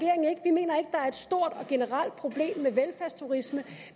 er er et stort og generelt problem med velfærdsturisme